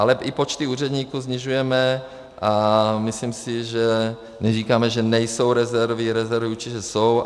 Ale i počty úředníků snižujeme a myslím si, že neříkáme, že nejsou rezervy, rezervy určitě jsou.